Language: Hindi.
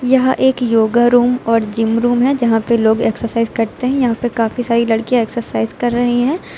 यह एक योगा रूम और जिम रूम है यहां पे लोग एक्सरसाइज करते है यहां पे काफी सारी लड़कियां एक्सरसाइज कर रही हैं।